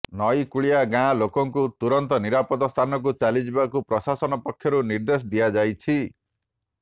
ନଇକୂଳିଆ ଗାଁ ଲୋକଙ୍କୁ ତୁରନ୍ତ ନିରାପଦ ସ୍ଥାନକୁ ଚାଲିଯିବାକୁ ପ୍ରଶାସନ ପକ୍ଷରୁ ନିର୍ଦ୍ଦେଶ ଦିଆଯାଇଛି